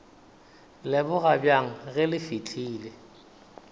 leboga bjang ge le fihlile